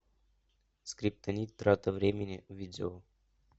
скриптонит трата времени видео